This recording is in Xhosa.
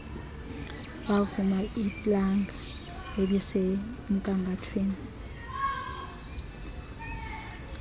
bavula iplanga elisemgangathweni